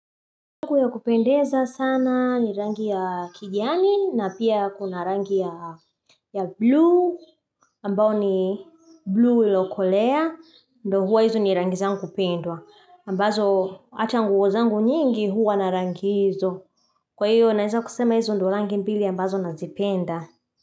Nangu ya kupendeza sana ni rangi ya kijani na pia kuna rangi ya blue ambao ni blue ilo kolea ndo huwa hizo ni rangi zangu pendwa ambazo hata nguozangu nyingi huwa narangi hizo Kwa hiyo naeza kusema hizo ndo rangi mbili ambazo nazipenda.